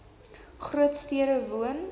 groot stede woon